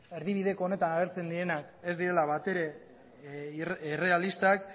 erdibideko honetan agertzen direnak ez direla bat ere errealistak